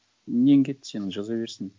нең кетті сенің жаза берсін